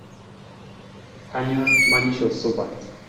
Kanyor manyisho supat